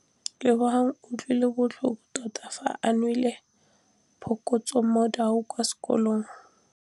Lebogang o utlwile botlhoko tota fa a neelwa phokotsômaduô kwa sekolong.